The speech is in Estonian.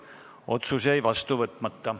Otsus jäi vastu võtmata.